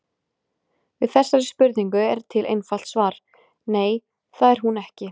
Við þessari spurningu er til einfalt svar: Nei, það er hún ekki.